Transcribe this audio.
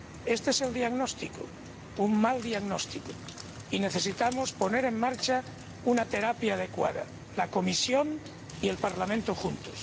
Este es el diagnóstico —un mal diagnóstico— y necesitamos poner en marcha una terapia adecuada, la Comisión y el Parlamento juntos.